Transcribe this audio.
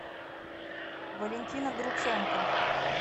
валентина груценко